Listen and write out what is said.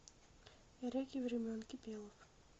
реки времен кипелов